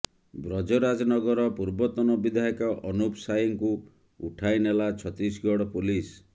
ବ୍ରଜରାଜ ନଗର ପୂର୍ବତନ ବିଧାୟକ ଅନୁପ ସାଏଙ୍କୁ ଉଠାଇ ନେଲା ଛତିଶଗଡ଼ ପୋଲିସ